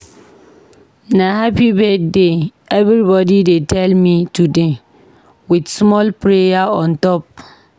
Na 'happy birthday' everybodi dey tell me today, wit small prayer on top.